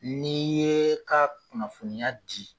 N'i ye ka kunnafoniya di